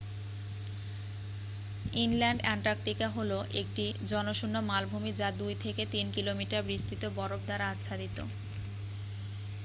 inland Antarctica হলো একটি জনশূন্য মালভূমি যা 2-3 কিলোমিটার বিস্তৃত বরফ দ্বারা আচ্ছাদিত